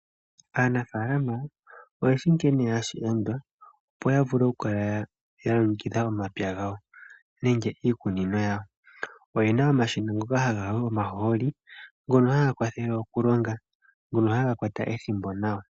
Aanafaalama oye shi sho hashi landwa opo ya vule okukala ya longekidha omapya gawo nenge iikunino yawo. Oyena omashina ngoka haga yi omahooli, ngono haga kwathele okulonga, ngono haga kwata ethimbo nawa.